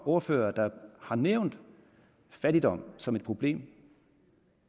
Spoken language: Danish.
ordførere der har nævnt fattigdom som et problem